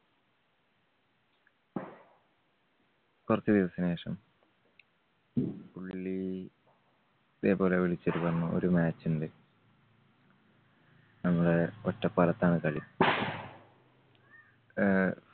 കുറച്ച് ദിവസത്തിനുശേഷം പുള്ളി ഇതേപോലെ വിളിച്ചിട്ട് പറഞ്ഞു ഒരു match ണ്ട്. നമ്മടെ ഒറ്റപ്പാലത്താണ് കളി. ആഹ്